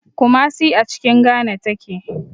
Kumasi a cikin Ghana take.